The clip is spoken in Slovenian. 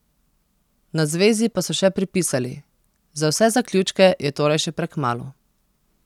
Na zvezi pa so še pripisali: "Za vse zaključke je torej še prekmalu.